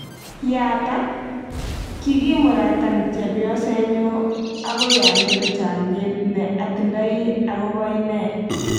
Yaatak: Kigiimuratan chebyostnyu amgoi amete chamyet ne atindoi akobo ine